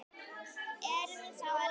Eruð þið þá að leita?